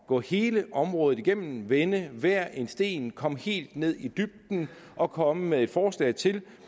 gå hele området igennem vende hver en sten komme helt ned i dybden og komme med et forslag til